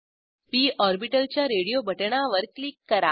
P orbital च्या radio बटणावर click करा